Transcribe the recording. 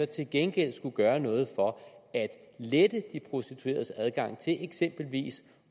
til gengæld skulle gøre noget for at lette de prostitueredes adgang til eksempelvis